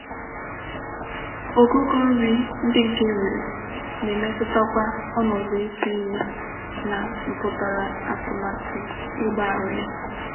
Ogugo nri ndi nke e nwere na-emetuta kwa onodu itu ime na mputara atumatu igba aro ya.